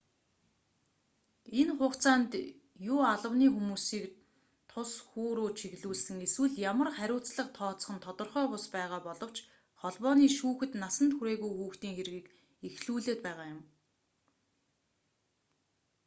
энэ хугацаанд юу албаны хүмүүсийг тус хүү рүү чиглүүлсэн эсвэл ямар хариуцлага тооцох нь тодорхой бус байгаа боловч холбооны шүүхэд насанд хүрээгүй хүүхдийн хэргийг эхлүүлээд байгаа юм